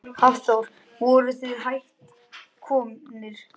Hafþór: Voruð þið hætt komnir?